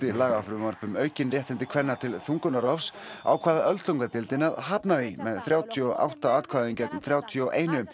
lagafrumvarp um aukin réttindi kvenna til þungunarrofs ákvað öldungadeildin að hafna því með þrjátíu og átta atkvæðum gegn þrjátíu og eitt